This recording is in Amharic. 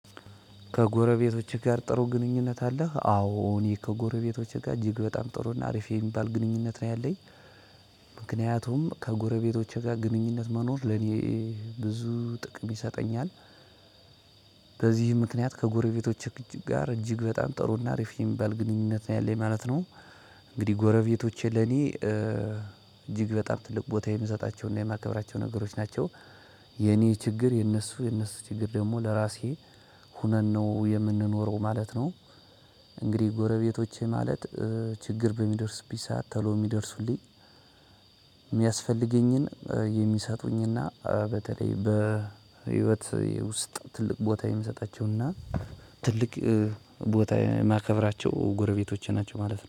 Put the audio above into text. ከጎረቤቶቼ ጋር ጥሩ ግንኙነት አለህ? አዎ እኔ ከጎረቤቶቼ ጋር እጅግ በጣም ጥሩና አሪፍ የሚባል ግንኙነት ነው ያለኝ ምክንያቱም ከጎረቤቶቼ ጋር ግንኙነት መኖር ለኔ ብዙ ጥቅም ይሰጠኛል። በዚህ ምክንያት ከጎረቤቶች ጋር እጅግ በጣም ጥሩ እና አሪፍ የሚባል ግንኙነት ነው ያለኝ ማለት ነው። እንግዲህ ጎረቤቶቼ ለእኔ እጅግ በጣም ትልቅ ቦታ የምሰጣቸውና የማከብራቸው ነገሮች ናቸው። የኔ ችግር የነሱ የነሱ ችግር ደግሞ ለራሴ ሆነን ነው የምንኖረው ማለት ነው። እንግዲህ ጎረቤቶቼ ማለት ችግር በሚደርስብኝ ተሎ የሚደርሱልኝ የሚያስፈልገኝን የሚሰጡኝና በተለይ በህይወት የውስጥ ትልቅ ቦታ የምሰጣቸው እና ትልቅ ቦታ የማከብራቸው ጎረቤቶች ናቸው ማለት ነው።